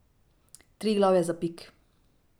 Triglav je zapik.